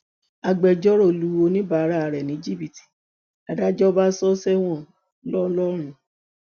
agbẹjọrò lu oníbàárà rẹ ní jìbìtì làdájọ bá sọ ọ sẹwọn ńlọrọrìn